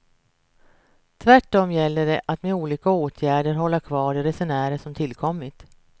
Tvärtom gäller det att med olika åtgärder hålla kvar de resenärer som tillkommit.